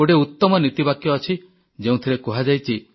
ଗୋଟିଏ ଉତମ ନୀତିବାକ୍ୟ ଅଛି ଯେଉଁଥିରେ କୁହାଯାଇଛି